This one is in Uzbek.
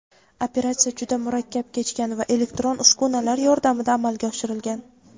Operatsiya juda murakkab kechgan va elektron uskunalar yordamida amalga oshirilgan.